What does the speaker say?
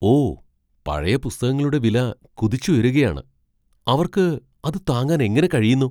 ഓ! പഴയ പുസ്തകങ്ങളുടെ വില കുതിച്ചുയരുകയാണ്. അവർക്ക് അത് താങ്ങാൻ എങ്ങനെ കഴിയുന്നു!